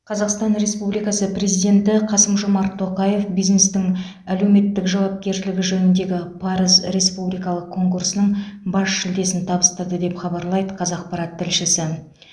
қазақстан республикасы президенті қасым жомарт тоқаев бизнестің әлеуметтік жауапкершілігі жөніндегі парыз республикалық конкурсының бас жүлдесін табыстады деп хабарлайды қазақпарат тілшісі